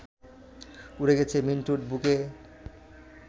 উড়ে গেছে মিন্টুর বুকে